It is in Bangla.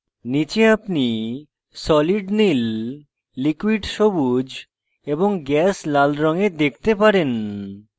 নীচে আপনি solid নীল liquid সবুজ এবং gas লাল রঙে দেখতে পারেন